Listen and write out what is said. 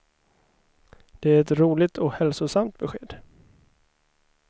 Det är ett roligt och hälsosamt besked.